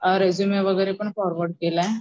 Resume वगैरेपण forward केलाय.